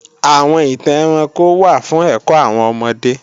Àwọn ìtàn ẹranko wà fún ẹ̀kọ́ àwọn ọmọdé